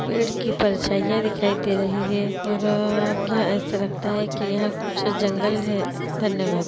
पेड़ की परछाईयाँ दिखाई दे रही है और अ-- यह ऐसा लगता है के यह कुछ जंगल है धन्यवाद्।